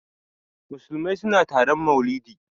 Musulmai suna taron maulidi.